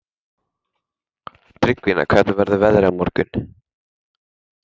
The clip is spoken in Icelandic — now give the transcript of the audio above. Tryggvína, hvernig verður veðrið á morgun?